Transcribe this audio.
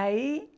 Aí,